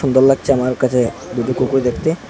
সুন্দর লাগছে আমার কাছে দুটো কুকুর দেখতে।